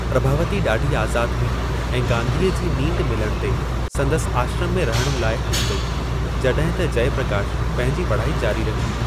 प्रभावती ॾाढी आज़ादु हुई ऐं गांधीअ जी नींढ मिलण ते, संदसि आश्रम में रहण लाइ हली वेई, जॾहिं त जयप्रकाशु पंहिंजी पढ़ाई जारी रखी।